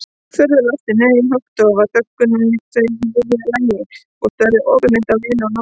Furðulostin, nei, höggdofa þögnuðu þau í miðju lagi og störðu opinmynnt á Lenu og Nonna.